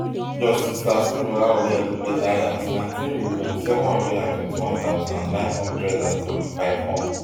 justice taslim olawale elias nineteen million, seven hundred and twenty-one thousand, nine hundred and seventy-five hon